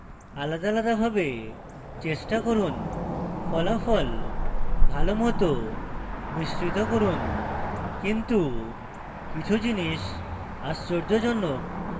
আলাদা আলাদা ভাবে চেষ্টা করুন ফলাফল ভালোমত মিশ্রিত করুন কিন্তু কিছু জিনিস আশ্চর্যজনক